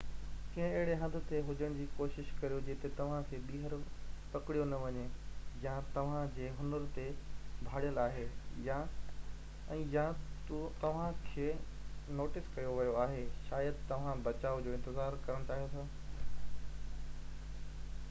ڪنهن اهڙي هنڌ تي هجڻ جي ڪوشش ڪريو جتي توهان کي ٻيهر پڪڙيو نہ وڃي يا توهان جي هنر تي ڀاڙيل آهي ۽ يا توهان کي نوٽس ڪيو ويو آهي شايد توهان بچاءُ جو انتظار ڪرڻ چاهيو ٿا